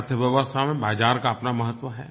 अर्थव्यवस्था में बाज़ार का अपना महत्व है